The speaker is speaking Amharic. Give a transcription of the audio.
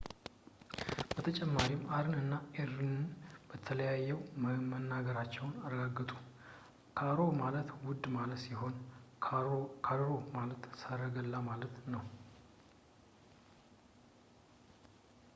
በተጨማሪም አርን እና አርአርን ለያይተው መናገራቸውን ያረጋግጡ ካሮ ማለት ውድ ማለት ሲሆን ካርሮ ማለት ሰረገላ ማለት ነው